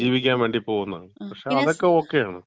ജീവിക്കാൻ വേണ്ടി പോകുന്നതാണ്. പക്ഷേ, അതൊക്കെ ഓകെയാണ്.